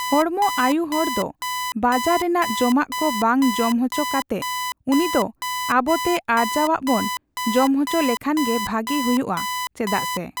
ᱦᱚᱲᱢᱚ ᱟᱭᱩᱦᱚᱲᱫᱚ ᱵᱟᱡᱟᱨ ᱨᱮᱱᱟᱜ ᱡᱚᱢᱟᱜᱠᱚ ᱵᱟᱝ ᱡᱚᱢ ᱚᱪᱚ ᱠᱟᱛᱮᱜ ᱩᱱᱤᱫᱚ ᱟᱵᱚᱛᱮ ᱟᱨᱡᱟᱣᱟᱜ ᱵᱚᱱ ᱡᱚᱢ ᱚᱪᱚ ᱞᱮᱠᱷᱟᱱᱜᱮ ᱵᱷᱟᱜᱤ ᱦᱩᱭᱩᱜᱼᱟ ᱪᱮᱫᱟᱜ ᱥᱮ᱾